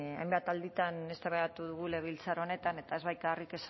hainbat alditan eztabaidatu dugu legebiltzar honetan eta ez bakarrik